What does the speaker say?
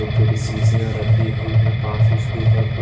छोटी-छोटी सीशियां रखी हुई है पास उसके ऊपर--